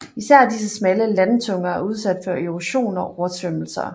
Især disse smalle landtunger er udsat for erosion og oversvømmelser